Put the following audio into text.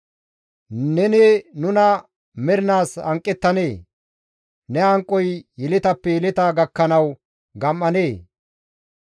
Neni nuna mernaas hanqettanee? Ne hanqoy yeletappe yeleta gakkanawu gam7anee?